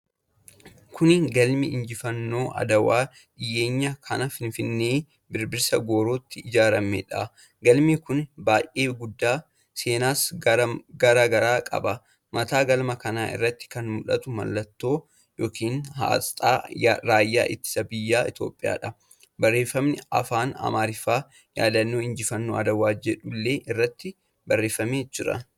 Kuni galma injifannoo Adwaa dhiyeenya kana Finfinnee Birbirsa Goorotti ijaaramedha. Galmi kuni baay'ee guddaadha. Seensa garaa garaallee qaba. Mataa galma kanaa irratti kan mul'atu mallattoo yookiin asxaa raayyaa ittisa biyya Itoophiyaadha. Barreefami Afaan Amaariffaan "Yaadannoo Injifannoo Adwaa" jedhullee irratti barreefameera.